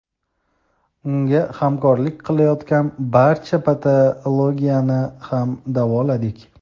unga hamrohlik qilayotgan barcha patologiyani ham davoladik.